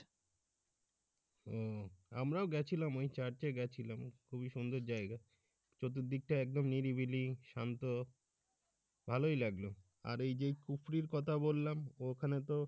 উম আমরাও গেছিলাম ওই Church গেছিলাম খুবই সুন্দর জায়গা চতুর্থদিকটা একদম নিরিবিলি শান্ত ভালোই লাগলো আর যে খুপরির কথা বললাম ওখানে তো,